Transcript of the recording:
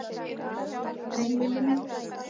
Velkominn Villi minn.